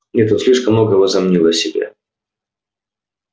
нет он слишком много возомнил о себе